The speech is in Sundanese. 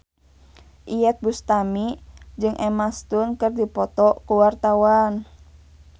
Iyeth Bustami jeung Emma Stone keur dipoto ku wartawan